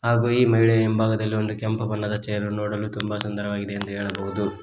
ಹಾಗು ಈ ಮಹಿಳೆ ಹಿಂಭಾಗದಲ್ಲಿ ಒಂದು ಕೆಂಪು ಬಣ್ಣದ ಚೇರು ನೋಡಲು ತುಂಬ ಸುಂದರವಾಗಿದೆ ಎಂದು ಹೇಳಬಹುದು.